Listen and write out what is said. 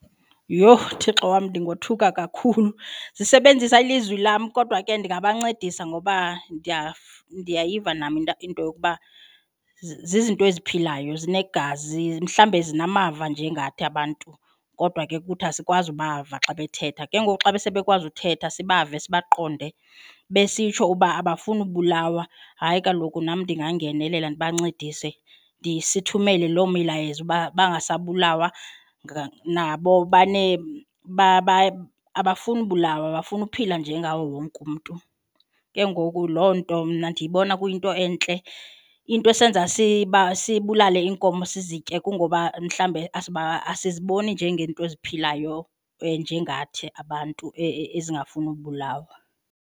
Yhoo, Thixo wam ndingothuka kakhulu. Zisebenzisa ilizwi lam kodwa ke ndingabancedisa ngoba ndiyayiva nam into yokuba zizinto eziphilayo zinegazi mhlawumbi zinamava njengathi abantu kodwa ke kuthi asikwazi kubava xa bethetha ke ngoku xa besebe kwazi uthetha sibave sibaqonde besitsho uba abafuni ubulawa hayi kaloku nam ndingangenelela ndibancedise sithumele lo milayezo uba bangasabulawa nabo banee abafuni ubulawa bafuna uphila njengawo wonke umntu. Ke ngoku loo nto mna ndiyibona kuyinto entle, into esenza sibulale iinkomo sizitye kungoba mhlawumbe asiziboni njengeento eziphilayo nje ngathi abantu ezingafuni ubulawa.